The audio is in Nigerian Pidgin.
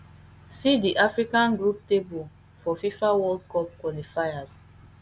see di african group table for fifa world cup qualifiers